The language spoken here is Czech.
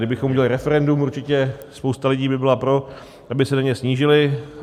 Kdybychom udělali referendum, určitě spousta lidí by byla pro, aby se daně snížily.